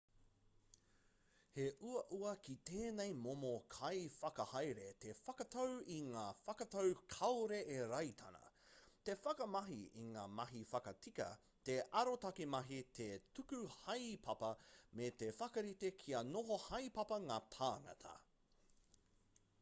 he uaua ki tēnei momo kaiwhakahaere te whakatau i ngā whakatau kāore e rataina te whakamahi i ngā mahi whakatika te arotake mahi te tuku haepapa me te whakarite kia noho haepapa ngā tāngata